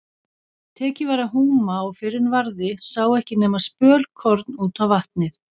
Tekið var að húma og fyrr en varði sá ekki nema spölkorn út á vatnið.